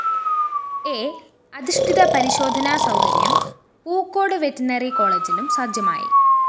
A അധിഷ്ഠിത പരിശോധനാസൗകര്യം Pookode veterinary കോളേജിലും സജ്ജമായി